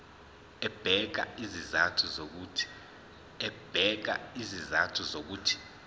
ebeka izizathu zokuthi